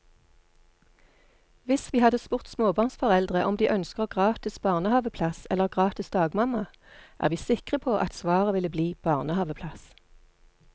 Hvis vi hadde spurt småbarnsforeldre om de ønsker gratis barnehaveplass eller gratis dagmamma, er vi sikre på at svaret ville bli barnehaveplass.